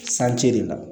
Sanji de la